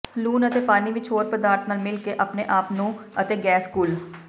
ਲੂਣ ਅਤੇ ਪਾਣੀ ਵਿੱਚ ਹੋਰ ਪਦਾਰਥ ਨਾਲ ਮਿਲ ਕੇ ਆਪਣੇ ਆਪ ਨੂੰ ਅਤੇ ਗੈਸ ਘੁਲ